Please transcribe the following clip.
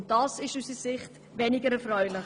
Dies ist aus unserer Sicht weniger erfreulich.